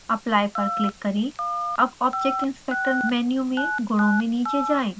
apply पर click करें अब object inspector मेन्यू में गुणों में नीचे जाएँ